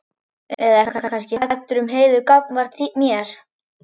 Eða ertu kannski hræddur um Heiðu gagnvart mér?